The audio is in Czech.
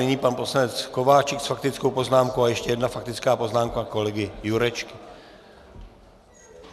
Nyní pan poslanec Kováčik s faktickou poznámkou a ještě jedna faktická poznámka kolegy Jurečky.